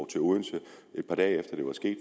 til odense et par dage efter det var sket